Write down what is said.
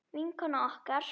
Vinkona okkar.